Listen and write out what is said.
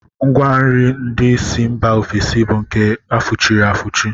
Ngwanri ndị si mba ofesi bụ nke a fụchiri afụchi